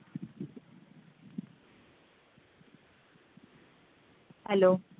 Hello